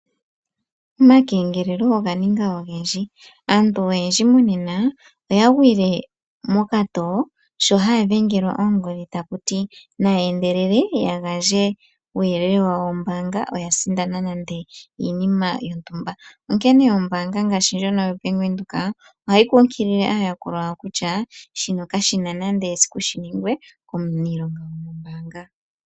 Omakengelelo oga ninga ogendji. Aantu oyendji monena, oya gwile mokatoo sho haya dhengelwa oongodhi taku ti: nayeendelele ya gandje uuyelele wawo wombaanga oya sindana nande iinima yontumba. Onkene ombaanga ngaashi ndjono yoBank Windhoek ohayi kunkilile aayakulwa yawo kutya, shino kashi na esiku shi ningwe komuniilonga gwomombaanga.